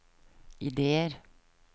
ideer